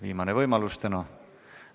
Viimane võimalus täna.